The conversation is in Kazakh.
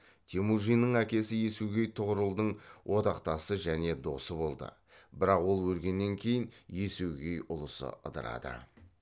темүжиннің әкесі есугей тұғырылдың одақтасы және досы болды бірақ ол өлгеннен кейін есугей ұлысы ыдырады